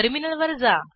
टर्मिनलवर जा